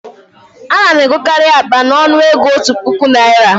A na m egokarị akpa a n'ọnụ ego òtù puku Naịra